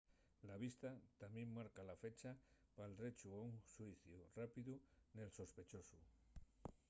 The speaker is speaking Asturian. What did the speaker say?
la vista tamién marca la fecha pal drechu a un xuiciu rápidu del sospechosu